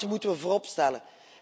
Dat moeten we vooropstellen.